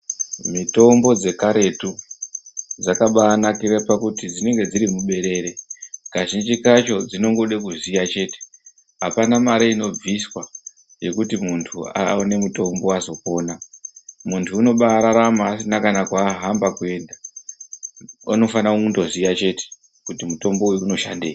Mitombo dzekaretu dzakabaanakira pakuti dzinenge dziri muberere kazhinji kacho dzinongoda kuziya chete apana mare inobviswa yekuti munthu awane mutombo azopona munthu unobaararama asina kana kwaahamba kuenda, unodana kungoziya chete kuti mutonbo uyu unoshandei.